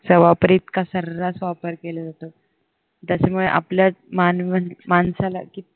त्याचा वापर इतका सऱ्हास वापर केला जातोय त्याच्यामुळे आपल्याच माणसाला किती